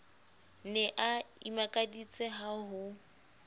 ne a imakaditse ka ho